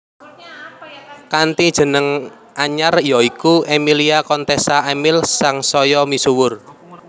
Kanthi jeneng anyar ya iku Emilia Contessa Emil sangsaya misuwur